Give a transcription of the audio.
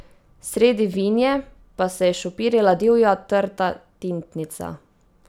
Sredi vinje pa se je šopirila divja trta tintnica.